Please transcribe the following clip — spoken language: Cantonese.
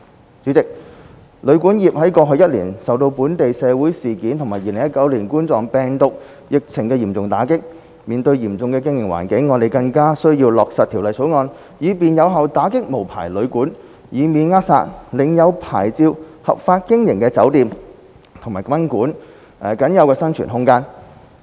代理主席，旅館業在過去一年受到本地社會事件和2019冠狀病毒疫情嚴重打擊，面對嚴峻的經營環境，因此，我們更需要落實《條例草案》以便有效打擊無牌旅館，以免扼殺領有牌照合法經營的酒店及賓館僅有的生存空間。